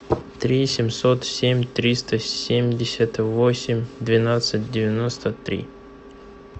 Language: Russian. три семьсот семь триста семьдесят восемь двенадцать девяносто три